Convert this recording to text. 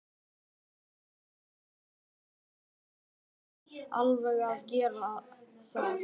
Verndari hulinna og dulinna afla